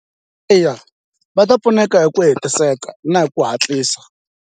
Eya va ta pfuneka hi ku hetiseka na hi ku hatlisa.